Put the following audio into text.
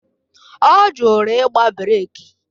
Ọ jụrụ igba breeki